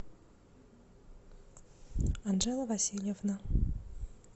анжела васильевна